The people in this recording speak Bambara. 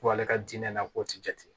Ko ale ka diinɛ na k'o tɛ jate